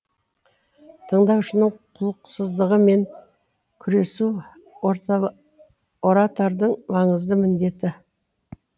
тыңдаушының құлықсыздығымен күресу оратордың маңызды міндеті